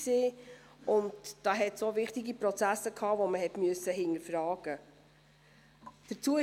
Da gab es auch wichtige Prozesse, die man hinterfragen musste.